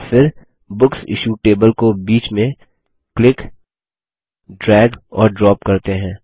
और फिर books issued table को बीच में क्लिक ड्रैग और ड्रॉप करते हैं